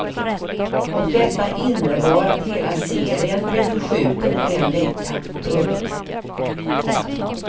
Och detta innebar att hela serien blev förskjuten en vecka. punkt